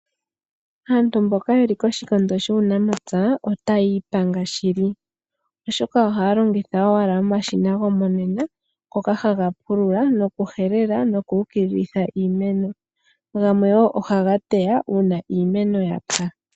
Aantu mboka yeli koshikondo shuunamapya otaya ipanga shili oshoka ohaya longitha owala omashina gomonena ngoka haga pulula, nokuhelela, noku ukililitha iimeno. Gamwe wo ohaga teya uuna iimeno yapya.